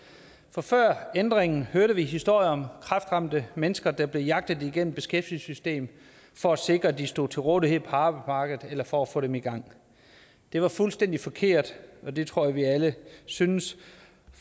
for før ændringen hørte vi historier om kræftramte mennesker der blev jagtet igennem beskæftigelsessystemet for at sikre at de stod til rådighed på arbejdsmarkedet eller for at få dem i gang det var fuldstændig forkert og det tror jeg vi alle synes